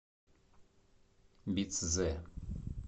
бицзе